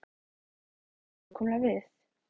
En hvað á hann nákvæmlega við?